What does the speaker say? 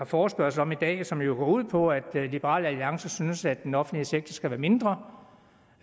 forespørgsel om i dag og som jo går ud på at liberal alliance synes at den offentlige sektor skal være mindre